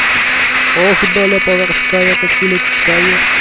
ох доля поворская как и людская